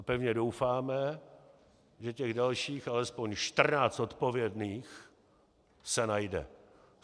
A pevně doufáme, že těch dalších alespoň 14 odpovědných se najde.